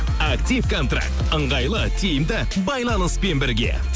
актив контракт ыңғайлы тиімді байланыспен бірге